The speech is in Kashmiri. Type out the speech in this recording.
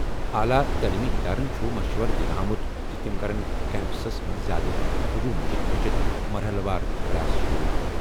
اعلیٰ تعلیمی ادارن چھُ مشورٕ دِنہٕ آمُت زِ تِم کرَن کیمپسس منٛز زیادٕ ہجوم نِش بچتھ مرحلہٕ وار کلاس شروع۔